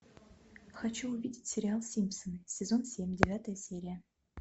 хочу увидеть сериал симпсоны сезон семь девятая серия